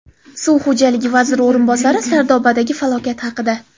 Suv xo‘jaligi vaziri o‘rinbosari Sardobadagi falokat haqida.